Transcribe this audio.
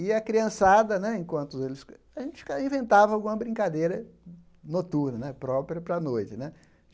E a criançada né, enquanto eles... A gente fica inventava alguma brincadeira noturna né, própria para a noite né.